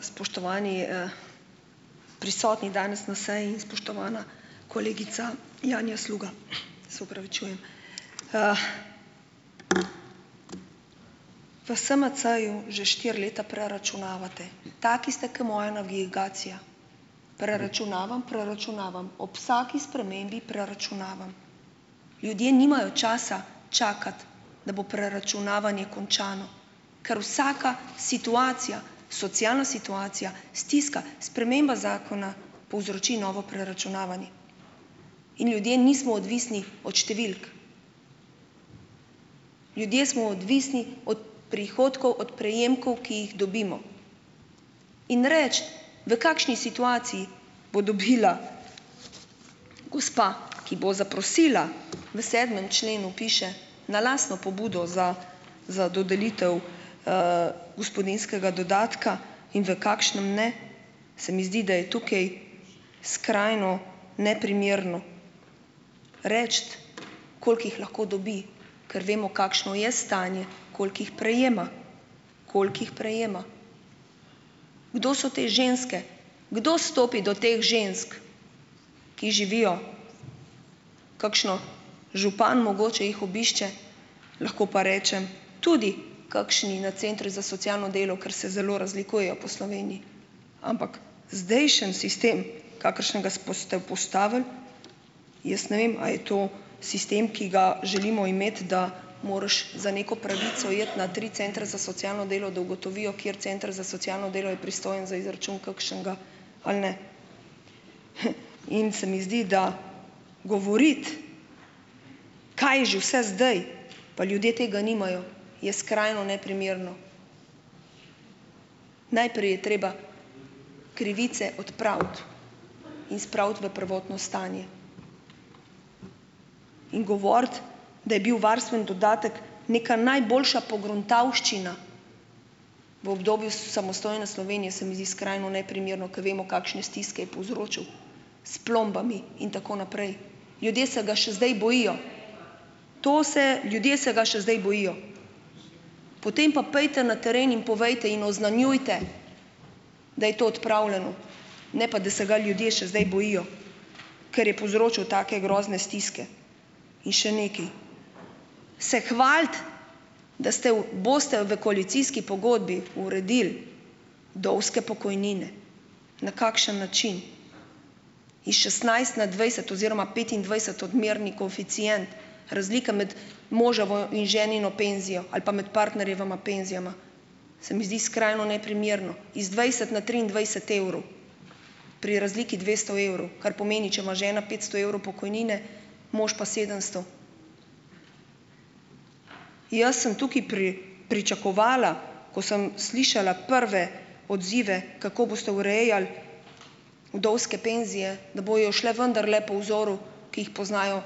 Spoštovani, prisotni danes na seji in spoštovana kolegica Janja Sluga! Se opravičujem v SMC-ju že štiri leta preračunavate. Taki ste, ker moja navigacija, preračunavam, preračunavam, ob vsaki spremembi preračunavam. Ljudje nimajo časa čakati, da bo preračunavanje končano, kar vsaka situacija socialna situacija, stiska, sprememba zakona povzroči novo preračunavanje. In ljudje nismo odvisni od številk, ljudje smo odvisni od prihodkov, od prejemkov, ki jih dobimo. In reči, v kakšni situaciji bo dobila gospa, ki bo zaprosila, v sedmem členu piše "na lastno pobudo za za dodelitev, gospodinjskega dodatka", in v kakšnem ne, se mi zdi, da je tukaj skrajno neprimerno reči, koliko jih lahko dobi, ker vemo, kakšno je stanje, koliko jih prejema. Koliko jih prejema. Kdo so te ženske, kdo stopi do teh žensk, ki živijo, kakšen župan mogoče jih obišče, lahko pa rečem, tudi kakšni na centri za socialno delo, kar se zelo razlikujejo po Sloveniji. Ampak zdajšnji sistem, kakršnega ste vzpostavili, jaz ne vem, a je to sistem, ki ga želimo imeti, da moraš za neko pravico iti na tri centre za socialno delo, da ugotovijo, kateri center za socialno delo je pristojen za izračun kakšnega, ali ne. In se mi zdi, da govoriti, kaj je že vse zdaj, pa ljudje tega nimajo, je skrajno neprimerno. Najprej je treba krivice odpraviti in spraviti v prvotno stanje. In govoriti, da je bil varstveni dodatek neka najboljša pogruntavščina v obdobju, samostojne Slovenije, se mi zdi skrajno neprimerno, ker vemo, kakšne stiske je povzročil, s plombami in tako naprej. Ljudje se ga še zdaj bojijo. To se, ljudje se ga še zdaj bojijo. Potem pa pojdite na teren in povejte in oznanjujte, da je to odpravljeno, ne pa da se ga ljudje še zdaj bojijo, ker je povzročil take grozne stiske. In še nekaj, se hvaliti, da ste v, boste v koalicijski pogodbi uredili vdovske pokojnine, na kakšen način? Iz šestnajst na dvajset oziroma petindvajset odmerni koeficient, razlika med moževo in ženino penzijo ali pa med partnerjevima penzijama, se mi zdi skrajno neprimerno, iz dvajset na triindvajset evrov pri razliki dvesto evrov, kar pomeni, če ima žena petsto evrov pokojnine, imaš pa sedemsto. Jaz sem tukaj pri pričakovala, ko sem slišala prve odzive, kako boste urejali vdovske penzije, da bojo šle vendarle po vzoru, ki jih poznajo